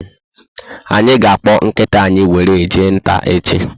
Anyị ga akpọ nkịta anyị were jee nta echi